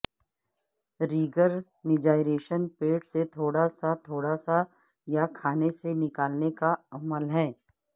ریگرنجائریشن پیٹ سے تھوڑا سا تھوڑا سا یا کھانے سے نکالنے کا عمل ہے